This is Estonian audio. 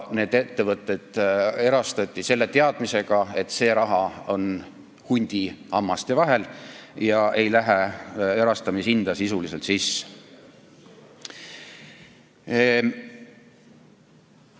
Need ettevõtted erastati selle teadmisega, et see raha on hundi hammaste vahel ega lähe erastamishinda sisuliselt sisse.